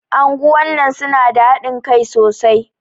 Anguwan nan su na da haɗin Kai sosai.